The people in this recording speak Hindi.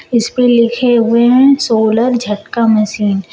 इसमें लिखे हुए हैं सोलर झटका मशीन ।